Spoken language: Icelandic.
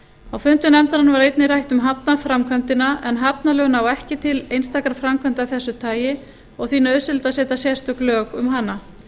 á fundum nefndarinnar var einnig rætt um hafnarframkvæmdina en hafnalög ná ekki til einstakra framkvæmda af þessu tagi og því nauðsynlegt að setja sérstök lög um hana